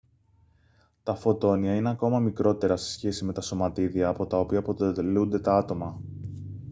τα φωτόνια είναι ακόμη μικρότερα σε σχέση με τα σωματίδια από τα οποία αποτελούνται τα άτομα